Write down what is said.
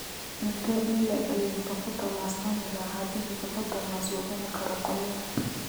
intee in le'eg ayuu hippopotamus cuni lahaa haddii hippopotamus uu cuni karo qoryo